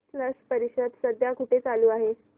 स्लश परिषद सध्या कुठे चालू आहे